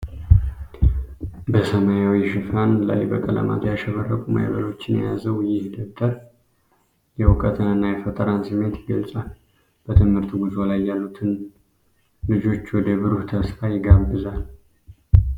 በሰማያዊ ሽፋን ላይ በቀለማት ያሸበረቁ ማዕበሎችን የያዘው ይህ ደብተር የእውቀትንና የፈጠራን ስሜት ይገልጻል። በትምህርት ጉዞ ላይ ያሉትን ልጆች ወደ ብሩህ ተስፋ ይጋብዛል።